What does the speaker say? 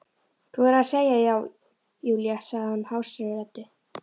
Þú verður að segja já, Júlía sagði hún hásri röddu.